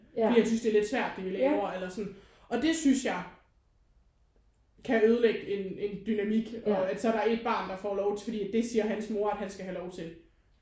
Fordi han synes det er lidt svært det vi laver eller sådan. Og det synes jeg kan ødelægge en en dynamik og at så er der et barn der lov fordi det siger hans mor at han skal have lov til